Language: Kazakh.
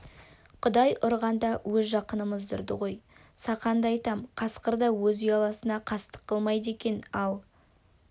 құдай ұрғанда өз жақынымызды ұрды ғой сақанды айтам қасқыр да өз ұяласына қастық қылмайды екен ал